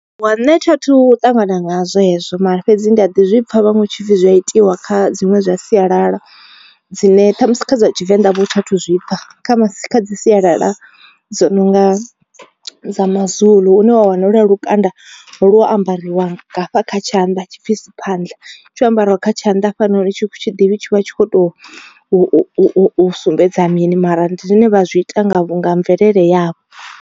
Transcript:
Wa nṋe tha thu ṱangana nga hezwo mara fhedzi ndi a ḓi zwipfa vhaṅwe tshipfi zwi a itiwa kha dziṅwe dza sialala, dzine ṱhamusi kha dza tshivenḓa vho thi athu zwipfa. Kha masi kha dzi sialala dzo no nga dza mazulu une wa wana holuya lukanda lo ambariwa hafha kha tshanḓa tshipfi siphandla tsho ambariwa kha tshanḓa hafhanoni thi ḓivhi tshi vha tshi kho to u sumbedza mini mara ndi zwine vha zwi ita nga nga mvelele yavho.